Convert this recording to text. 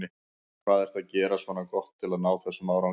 Hvað ertu að gera svona gott til að ná þessum árangri?